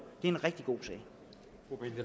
er en rigtig god